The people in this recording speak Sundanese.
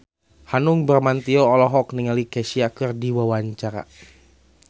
Hanung Bramantyo olohok ningali Kesha keur diwawancara